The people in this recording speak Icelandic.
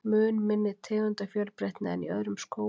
Mun minni tegundafjölbreytni en í öðrum skógum.